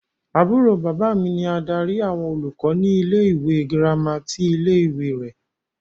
Àbúrò bàbá mi ni adarí àwọn olùkọ́ ní ilé-ìwé gírámà ti ilé-ìwé rẹ.